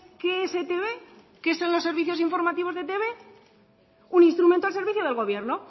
qué es etb qué son los servicios informativos de etb un instrumento al servicio del gobierno